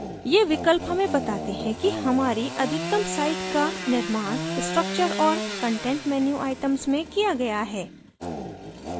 ये विकल्प हमें बताते हैं कि हमारी अधिकतम site का निर्माण structure और content menu items में किया गया है